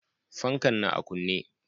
Fankan na a kunne.